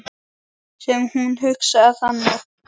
Sem hún hugsaði þannig.